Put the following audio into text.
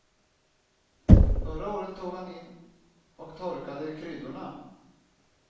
Förra året tog han in och torkade kryddorna.